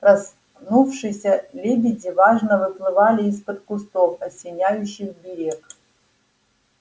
проснувшиеся лебеди важно выплывали из-под кустов осеняющих берег